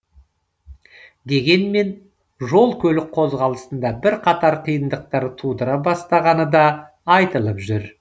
дегенмен жол көлік қозғалысында бірқатар қиындықтар тудыра бастағаны да айтылып жүр